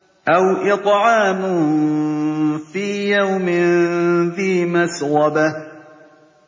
أَوْ إِطْعَامٌ فِي يَوْمٍ ذِي مَسْغَبَةٍ